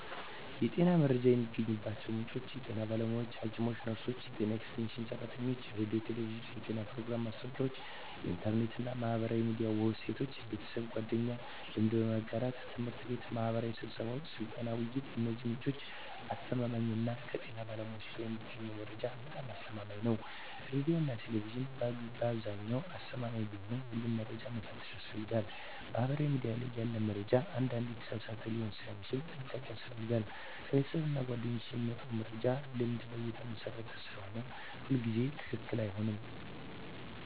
የጤና መረጃ የሚገኝባቸው ምንጮች የጤና ባለሙያዎች (ሐኪሞች፣ ነርሶች፣ የጤና ኤክስቴንሽን ሰራተኞች) ሬዲዮና ቴሌቪዥን (የጤና ፕሮግራሞች፣ ማስታወቂያዎች) ኢንተርኔት እና ማህበራዊ ሚዲያ ዌብሳይቶች) ቤተሰብና ጓደኞች (ልምድ በመጋራት) ት/ቤትና ማህበራዊ ስብሰባዎች (ስልጠና፣ ውይይት) የእነዚህ ምንጮች አስተማማኝነት ከጤና ባለሙያዎች የሚገኘው መረጃ በጣም አስተማማኝ ነው ሬዲዮና ቴሌቪዥን በአብዛኛው አስተማማኝ ቢሆንም ሁሉንም መረጃ መፈተሽ ያስፈልጋል ማህበራዊ ሚዲያ ላይ ያለ መረጃ አንዳንዴ የተሳሳተ ሊሆን ስለሚችል ጥንቃቄ ያስፈልጋል ከቤተሰብና ጓደኞች የሚመጣ መረጃ ልምድ ላይ የተመሰረተ ስለሆነ ሁሉ ጊዜ ትክክለኛ አይሆንም